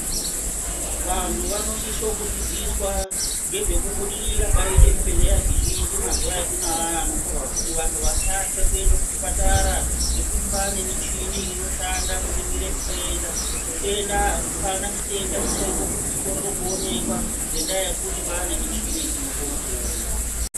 Vantu vanosisa kudzidziswa nezvekubudirira kwaita zvibhedhlera zvizhinji mazuva atinawo kuti vantu vasatya kuenda kuzvipatara nekuti kwane michini inoshanda kuzvitenda apana chitenda chaita kuti chikorere kuonekwa nenyaya yekuti kwane michini inokona kuona.